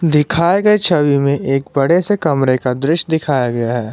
दिखाए गए छवि में एक बड़े से कमरे का दृश्य दिखाया गया है।